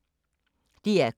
DR K